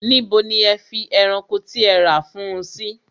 Níbo ni ẹ fi ẹranko tí ẹ rà fún un sí?